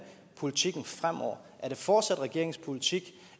politikken fremover er det fortsat regeringens politik